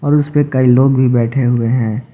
और उसपे कई लोग भी बैठे हुए हैं।